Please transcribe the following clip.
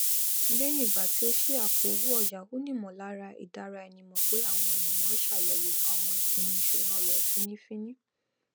lẹyìn ìgbà tí ó ṣí àpòowóòyá ó ní ìmọlára ìdáraẹnimọ pé àwọn ènìyàn n ṣàyẹwò àwọn ìpinnu ìṣúná rẹ fínnífiínní